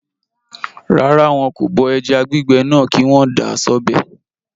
Rárá, wọn kò bọ ẹja gbígbẹ náà kí wọ́n dà á sọ́bẹ̀